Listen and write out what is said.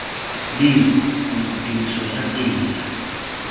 leng gore tiriso ya tsela